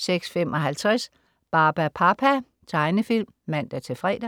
06.55 Barbapapa. Tegnefilm (man-fre)